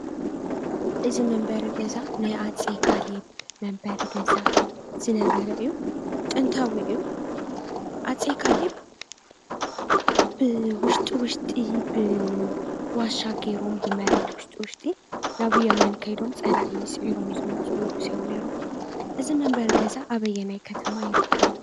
እዚ መንበሪ ገዛ ናይ ኣፄ ካሌብ መንበሪ ገዛ ዝነበረ አዩ፡፡ ጥንታዊ እዩ፣ ኣፄ ካሌብ ብውሽጢ ውሽጢ ብዋሻ ገይሮም ብመሬት ውሽጢ ውሽጢ ናብ የመን ከይዶም ፀላኢ ሲዒሮም ዝመጹ ንጉስ እዮም ነይሮም እዚ መንበሪ ገዛ ኣበየናይ ከተማ ይርከብ?